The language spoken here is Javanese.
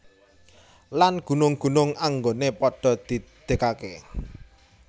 Lan gunung gunung anggoné padha didegaké